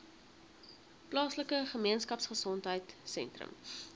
plaaslike gemeenskapgesondheid sentrum